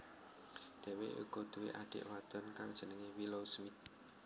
Dheweke uga duwé adik wadon kang jenenge Willow Smith